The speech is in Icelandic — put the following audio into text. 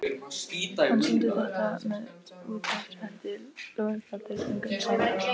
Hann sýndi þetta með útréttri hendi, lófinn flatur, fingurnir saman.